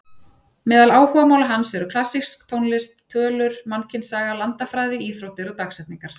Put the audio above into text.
Meðal áhugamála hans eru klassísk tónlist, tölur, mannkynssaga, landafræði, íþróttir og dagsetningar.